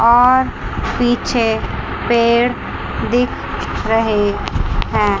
और पीछे पेड़ दिख रहे हैं।